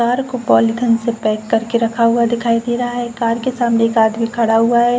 Car को polythene से pack कर के रखा हुआ दिखाई दे रहा है। कार के सामने एक आदमी खड़ा हुआ है।